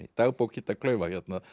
dagbók Kidda klaufa